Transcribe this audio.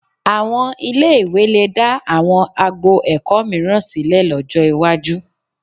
Àwọn ilé-ìwé lè dá àwọn agbo ẹ̀kọ́ mìíràn sílẹ̀ lọ́jọ́ iwájú